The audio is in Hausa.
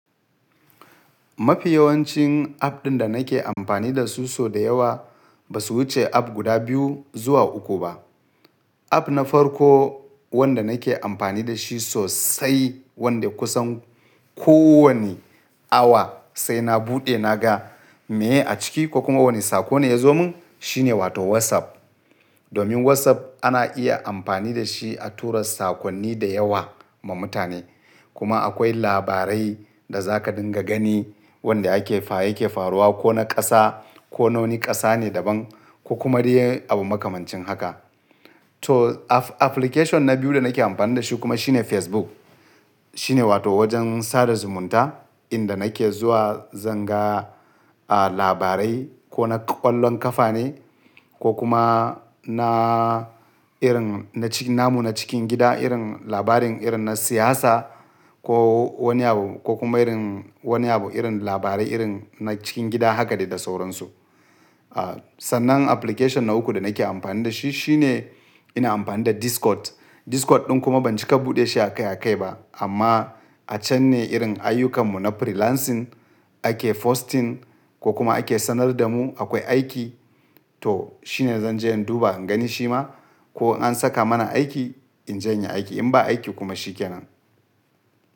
Mafi yawancin app ɗin da nake amfani da su, so da yawa ba su wuce app guda biyu zuwa uku ba. App na farko wanda nake amfani da shi sosai, wanda kusan kowane awa sai na buɗe na ga meye a ciki ko kuma wane saƙo ne ya zo mun shine wato WhatsApp. Domin WhatsApp ana iya amfani da shi a tura sakonni da yawa ma mutane. Kuma akwai labarai da za ka dinga gani wanda yake faruwa ko na ƙasa ko na wani ƙasa ne daban ko kuma dai abu makamancin haka. To application na biyu da nake amfani da shi kuma shine Facebook. Shine wato wajen sada zumunta inda nake zuwa zan ga labarai ko na ƙwallon ƙafa ne ko kuma na irin na namu na cikin gida, irin labarin irin na siyasa ko wani abu ko kuma irin wani abu irin labarai irin na cikin gida haka da dai sauransu. Sannan application na uku da nake amfani da shi shine ina amfani da Discord. Discord ɗin kuma ban cika buɗe shi akai akai ba amma a can ne irin ayyukan mu na freelancing ake posting ko kuma ake sanar da mu akwai aiki to shine zan je in duba in gani shima ko an saka mana aiki in je in yi aiki in ba aiki kuma shi kenan.